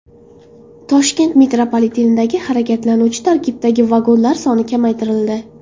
Toshkent metropolitenidagi harakatlanuvchi tarkiblardagi vagonlar soni kamaytirildi.